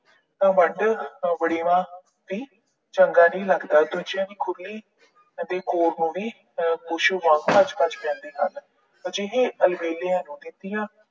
ਨਾ ਵੱਢ, ਨਾ ਵੜੇਵਾ ਵੀ ਚੰਗਾ ਨੀ ਲੱਗਦਾ। ਦੂਜਿਆਂ ਦੀ ਖੁਰਲੀ ਅਤੇ ਖੋਰ ਨੂੰ ਵੀ ਵਾਂਗ ਭੱਜ ਭੱਜ ਪੈਂਦੇ ਹਨ। ਅਜਿਹੇ ਅਲਬੇਲਿਆਂ ਨੂੰ ਖੇਤੀਆਂ